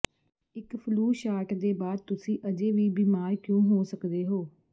ਇੱਕ flu shot ਦੇ ਬਾਅਦ ਤੁਸੀਂ ਅਜੇ ਵੀ ਬੀਮਾਰ ਕਿਉਂ ਹੋ ਸਕਦੇ ਹੋ